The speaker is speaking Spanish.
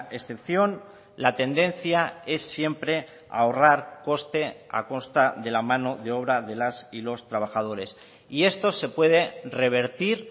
excepción la tendencia es siempre ahorrar coste a costa de la mano de obra de las y los trabajadores y esto se puede revertir